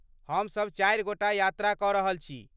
हमसब चारि गोटा यात्रा कऽ रहल छी।